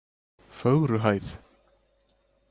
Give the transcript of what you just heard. Fögruhæð